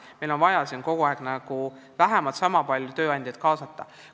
Meil on vaja vähemalt niisama palju tööandjaid kaasata.